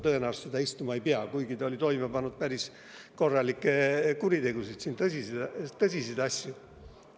Tõenäoliselt ta mujal istuma ei peagi, kuigi ta on siin toime pannud päris korralikke kuritegusid, tõsiseid asju.